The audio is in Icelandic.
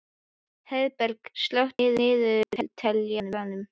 Heiðberg, slökktu á niðurteljaranum.